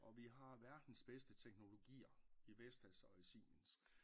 Og vi har verdens bedste teknologier i Vestas og i Siemens